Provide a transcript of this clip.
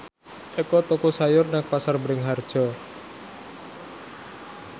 Eko tuku sayur nang Pasar Bringharjo